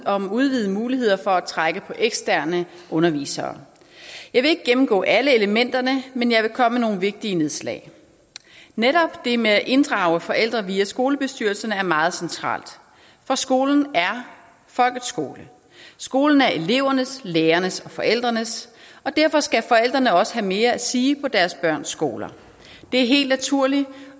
om udvidede muligheder for at trække på eksterne undervisere jeg vil ikke gennemgå alle elementerne men jeg vil komme med nogle vigtige nedslag netop det med at inddrage forældre via skolebestyrelserne er meget centralt for skolen er folkets skole skolen er elevernes lærernes og forældrenes og derfor skal forældrene også have mere at sige på deres børns skoler det er helt naturligt